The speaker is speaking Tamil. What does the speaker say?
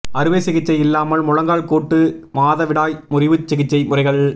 அறுவை சிகிச்சை இல்லாமல் முழங்கால் கூட்டு மாதவிடாய் முறிவு சிகிச்சை முறைகள்